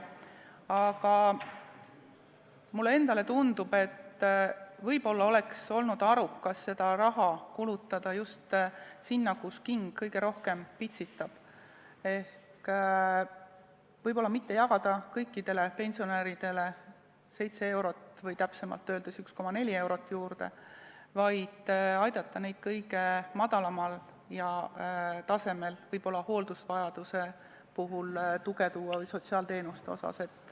Aga mulle tundub, et võib-olla oleks olnud arukas seda raha kulutada just sinna, kust king kõige rohkem pitsitab, ehk võib-olla mitte anda kõikidele pensionäridele seitse eurot või täpsemalt öeldes 1,4 eurot juurde, vaid aidata neid kõige madalamal tasemel olijaid, võib-olla hooldusvajaduse puhul tuge suurendada või sotsiaalteenustele see raha anda.